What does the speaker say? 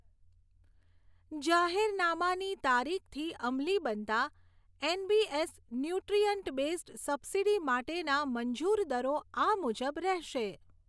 જાહેરનામાની તારીખથી અમલી બનતા એનબીએસ ન્યુટ્રિઅન્ટ બૅઝ્ડ સબસિડી માટેના મંજૂર દરો આ મુજબ રહેશે